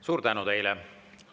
Suur tänu teile!